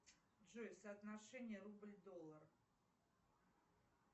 джой соотношение рубль доллар